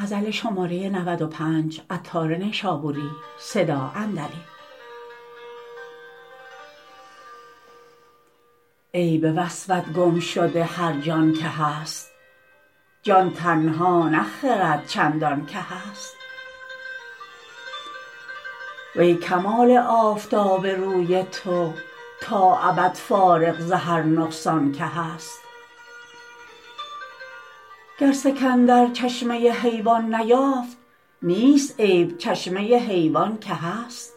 ای به وصفت گم شده هرجان که هست جان تنها نه خرد چندان که هست وی کمال آفتاب روی تو تا ابد فارغ ز هر نقصان که هست گر سکندر چشمه حیوان نیافت نیست عیب چشمه حیوان که هست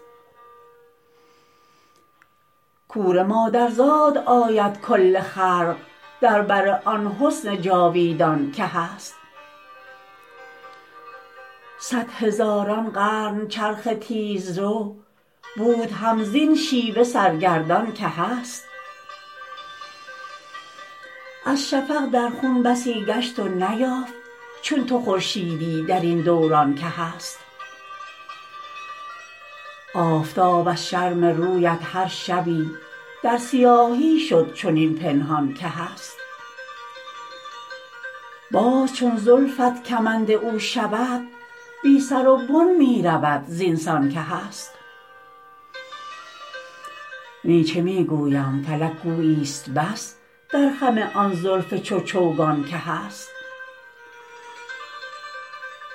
کور مادرزاد آید کل خلق در بر آن حسن جاویدان که هست صد هزاران قرن چرخ تیزرو بود هم زین شیوه سرگردان که هست از شفق در خون بسی گشت و نیافت چون تو خورشیدی درین دوران که هست آفتاب از شرم رویت هر شبی در سیاهی شد چنین پنهان که هست باز چون زلفت کمند او شود بی سر و بن می رود زین سان که هست نی چه می گویم فلک گویی است بس در خم آن زلف چون چوگان که هست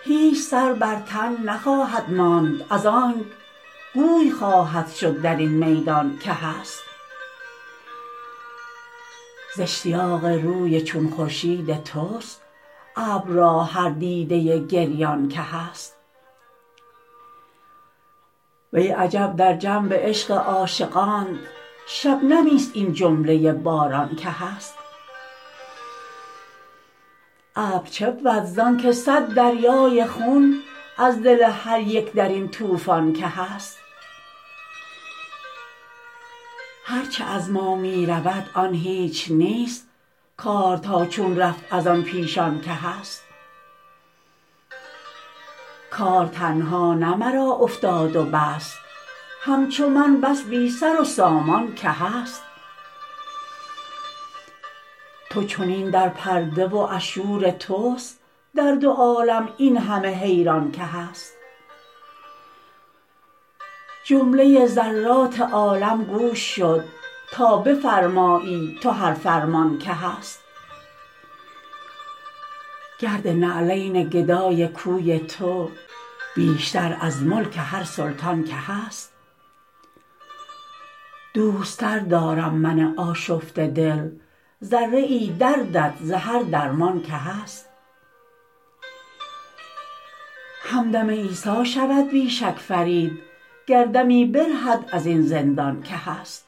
هیچ سر بر تن نخواهد ماند از انک گوی خواهد شد درین میدان که هست زاشتیاق روی چون خورشید توست ابر را هر دیده گریان که هست وی عجب در جنب عشق عاشقانت شبنمی است این جمله باران که هست ابر چبود زانکه صد دریای خون از دل هر یک درین طوفان که هست هرچه از ما می رود آن هیچ نیست کار تا چون رفت از آن پیشان که هست کار تنها نه مرا افتاد و بس همچو من بس بی سر و سامان که هست تو چنین در پرده و از شور توست در دو عالم این همه حیران که هست جمله ذرات عالم گوش شد تا بفرمایی تو هر فرمان که هست گرد نعلین گدای کوی تو بیشتر از ملک هر سلطان که هست دوست تر دارم من آشفته دل ذره ای دردت ز هر درمان که هست همدم عیسی شود بی شک فرید گر دمی برهد ازین زندان که هست